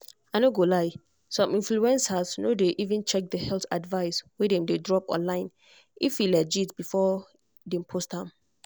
i no go lie some influencers no dey even check the health advice wey dem dey drop online if e legit before dem post am.